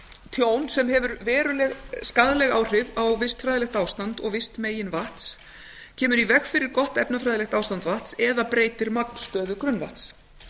tjón sem hefur veruleg skaðleg áhrif á vistfræðilegt ástand og vistmegin vatns kemur í veg fyrir gott efnafræðilegt ástand vatns eða breytir magnstöðu grunnvatns